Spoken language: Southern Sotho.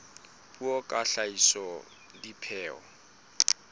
puo ka ho hlahisa dipheo